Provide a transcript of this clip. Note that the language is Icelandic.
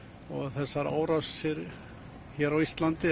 þessar árásir hér á Íslandi